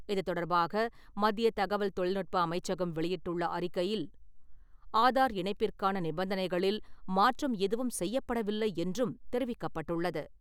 இதுதொடர்பாக மத்திய தகவல் தொழில்நுட்ப அமைச்சகம் வெளியிட்டுள்ள அறிக்கையில், ஆதார் இணைப்பிற்கான நிபந்தனைகளில் மாற்றம் எதுவும் செய்யப்படவில்லை என்றும் தெரிவிக்கப்பட்டுள்ளது.